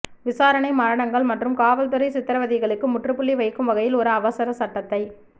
விசாரணை மரணங்கள் மற்றும் காவல்துறை சித்ரவதைகளுக்கு முற்றுப்புள்ளி வைக்கும் வகையில் ஒரு அவசர சட்டத்தை